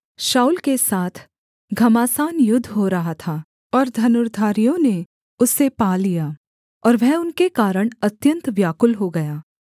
शाऊल के साथ घमासान युद्ध हो रहा था और धनुर्धारियों ने उसे पा लिया और वह उनके कारण अत्यन्त व्याकुल हो गया